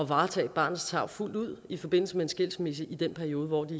varetage barnets tarv fuldt ud i forbindelse med en skilsmisse i den periode hvor de